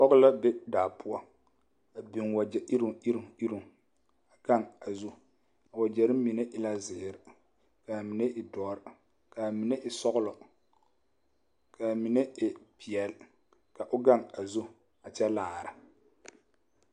Pɔɡe la be daa poɔ a biŋ waɡyɛ iroŋiroŋ iroŋ a ɡaŋ a zu a waɡyɛre mine e la ziiri ka a mine e dɔre ka a mine e sɔɔlɔ ka a mine e peɛle ka o ɡaŋ a zu a kyɛ laara.